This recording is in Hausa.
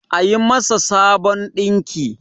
a yi masà Sabon dinki!